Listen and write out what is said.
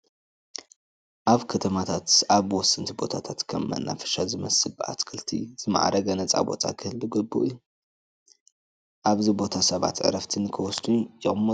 ኣብ ከተማታት ኣብ ወሰንቲ ቦታታት ከም መናፈሻ ዝመስል ብኣትክልቲ ዝማዕረገ ነፃ ቦታ ክህሉ ግቡእ እዩ፡፡ ኣብዚ ቦታ ሰባት ዕረፍቲ ንክወስዱ ይቕመጡ፡፡